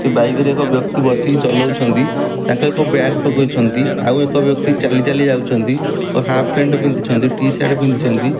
ସେ ବାଇକ୍ ରେ ଏକ ବ୍ଯକ୍ତି ବସି ଚଲଉଛନ୍ତି ତାଙ୍କ ଏକ ବ୍ୟାଗ୍ ପକେଇଛନ୍ତି ଆଉ ଏକ ବ୍ଯକ୍ତି ଚାଲି ଚାଲି ଯାଉଛନ୍ତି ଏକ ହାପ୍ ପ୍ୟାଣ୍ଟ୍ ପିନ୍ଧିଛନ୍ତି ଟି-ସାର୍ଟ ପିନ୍ଧିଛନ୍ତି।